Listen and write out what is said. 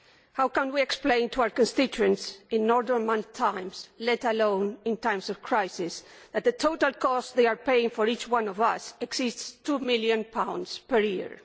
How can we explain to our constituents in normal times, let alone in times of crisis, that the total cost they are paying for each one of us exceeds GBP 2 million per year?